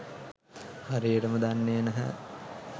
හරියටම දන්නෙ නැහැ